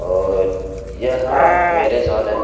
और यहाँ marriage hall है ।